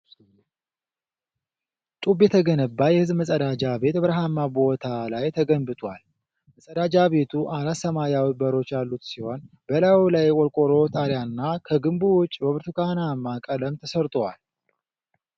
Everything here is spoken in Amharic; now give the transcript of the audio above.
ጡብ የተገነባ የህዝብ መፀዳጃ ቤት በበረሃማ ቦታ ላይ ተገንብቶል። መፀዳጃ ቤቱ አራት ሰማያዊ በሮች ያሉት ሲሆን፣ በላዩ ላይ የቆርቆሮ ጣሪያና ከግንቡ ውጪ በብርቱካናማ ቀለም ተሰርቶዋል።